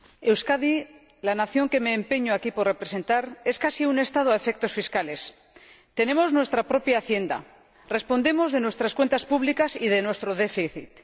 Señora Presidenta, Euskadi, la nación que me empeño aquí en representar, es casi un Estado a efectos fiscales. Tenemos nuestra propia Hacienda y respondemos de nuestras cuentas públicas y de nuestro déficit.